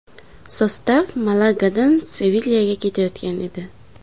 Sostav Malagadan Sevilyaga ketayotgan edi.